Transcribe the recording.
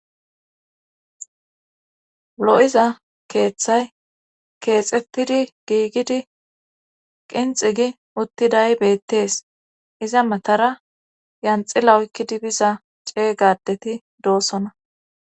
lo7iza keeththay keexettidi giigidi qinxi gi uttiday beettees iza matara lanxila okkidi biza cega adeti doosona